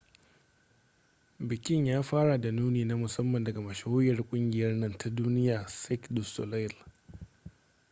bikin ya fara da nuni na musamman daga mashahuriyar kungiyar nan ta duniya cirque du soleil